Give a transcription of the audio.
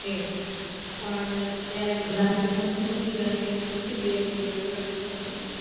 તે પણ ત્યાં એક સીડ મોટી હતી અને એ તૂટી ગયેલી એવું કશું થયેલું